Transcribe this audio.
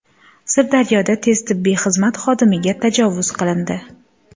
Sirdaryoda tez tibbiy xizmat xodimiga tajovuz qilindi.